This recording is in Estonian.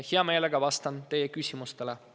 Hea meelega vastan teie küsimustele.